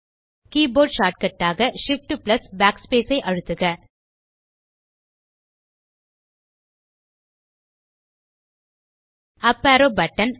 keyboard shortcut ஆக shift amp backspace ஐ அழுத்துக உப் அரோவ் பட்டன்